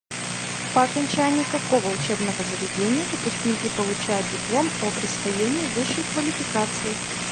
по окончании какого учебного заведения выпускники получают диплом о присвоении высшей квалификации